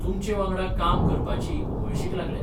तुमचेवांगडा काम करपाची उमळशीक लागल्या.